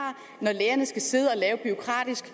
når lærerne skal sidde og lave bureaukratisk